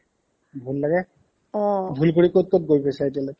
ভূল লাগে ঘূৰি ঘূৰি ক'ত ক'ত গৈ পাইছা এতিয়ালৈকে